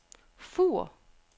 Fur